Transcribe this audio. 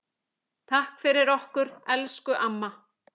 Takk fyrir okkur, elsku amma.